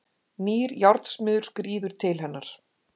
Nýr járnsmiður skríður til hennar.